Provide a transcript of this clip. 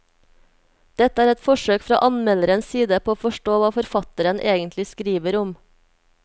Dette er et forsøk fra anmelderens side på å forstå hva forfatteren egentlig skriver om.